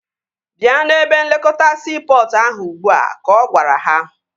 Bịa n'ebe nlekọta siipọtụ ahụ ugbua! Ka ọ gwara ha